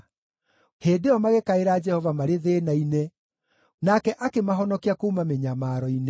Hĩndĩ ĩyo magĩkaĩra Jehova marĩ thĩĩna-inĩ, nake akĩmahonokia kuuma mĩnyamaro-inĩ.